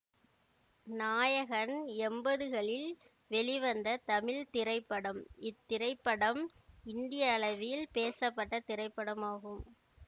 நாயகன் எம்பதுகளில் வெளிவந்த தமிழ் திரைப்படம் இத்திரைப்படம் இந்திய அளவில் பேசப்பட்ட திரைப்படமாகும்